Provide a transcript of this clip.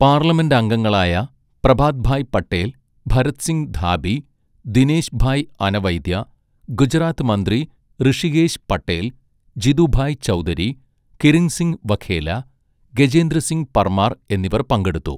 പാർലമെന്റംഗങ്ങളായ പ്രഭാത്ഭായ് പട്ടേൽ, ഭരത്സിങ് ധാബി, ദിനേശ്ഭായ് അനവൈദ്യ, ഗുജറാത്ത് മന്ത്രി ഋഷികേശ് പട്ടേൽ, ജിതുഭായ് ചൗധരി, കിരിത്സിൻഹ് വഘേല, ഗജേന്ദ്രസിങ് പർമാർ എന്നിവർ പങ്കെടുത്തു.